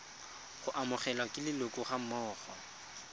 go amogelwa ke leloko gammogo